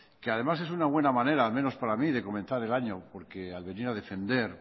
que además es una buena manera al menos para mí de comenzar el año porque al venir a defender